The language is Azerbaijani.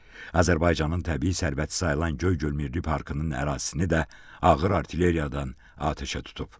Azərbaycanın təbii sərvəti sayılan Göygöl Milli Parkının ərazisini də ağır artilleriyadan atəşə tutub.